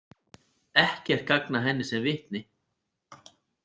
Ekkert gagn að henni sem vitni.